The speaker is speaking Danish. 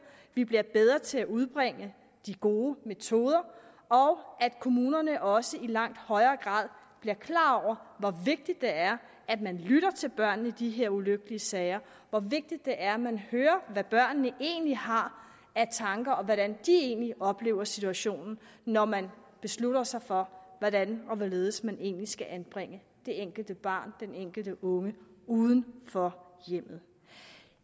at vi bliver bedre til at udbringe de gode metoder og at kommunerne også i langt højere grad bliver klar over hvor vigtigt det er at man lytter til børnene i de her ulykkelige sager hvor vigtigt det er man hører hvad børnene egentlig har af tanker og hvordan de egentlig oplever situationen når man beslutter sig for hvordan og hvorledes man egentlig skal anbringe det enkelte barn den enkelte unge uden for hjemmet